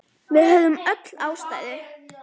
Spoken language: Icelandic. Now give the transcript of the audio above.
Við höfðum öll ástæðu.